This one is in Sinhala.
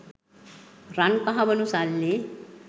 රන් කහවනු සල්ලි